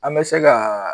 An bɛ se ka